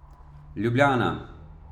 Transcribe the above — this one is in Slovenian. Ljubljana.